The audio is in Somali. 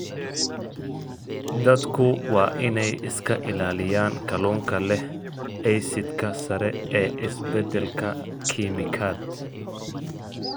Dadku waa inay iska ilaaliyaan kalluunka leh aysidhka sare ee isbeddelka kiimikaad.